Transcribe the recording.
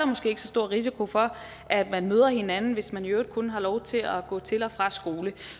måske ikke så stor risiko for at man møder hinanden hvis man i øvrigt kun har lov til at gå til og fra skole